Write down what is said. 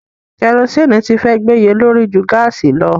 Kẹrosíìnì ti fẹ́ gbéye lórí ju gáàsì lọ.